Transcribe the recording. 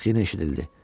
Bax, yenə eşidildi.